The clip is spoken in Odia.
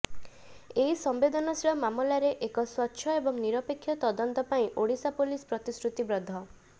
ଏଇ ସଂବେଦନଶୀଳ ମାମଲାର ଏକ ସ୍ୱଚ୍ଛ ଏବଂ ନିରପେକ୍ଷ ତଦନ୍ତ ପାଇଁ ଓଡିଶା ପୋଲିସ ପ୍ରତିଶୃତିବଦ୍ଧ